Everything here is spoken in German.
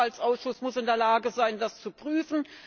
Der Haushaltsausschuss muss in der Lage sein, das zu prüfen.